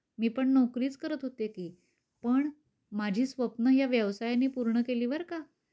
मी पण नोकरीच करत होते कि, पण माझी स्वप्नं या व्यवसाया ने पूर्ण केली बर का?